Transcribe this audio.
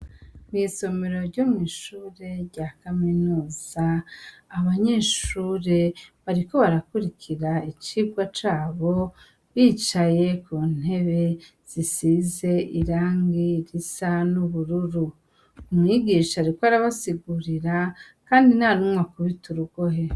Mw'isomero ryo mw'ishure rya kaminusa abanyeshure bariko barakurikira icibwa cabo bicaye ku ntebe zisize irangi risa n'ubururu umwigisha riko arabasigurira, kandi na numwa akubita urugohe.